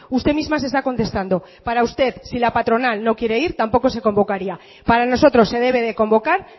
usted misma se está contestando para usted si la patronal no quiere ir tampoco se convocaría para nosotros se debe de convocar